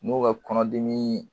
N'o ka kɔnɔdimi